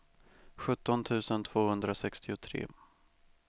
sjutton tusen tvåhundrasextiotre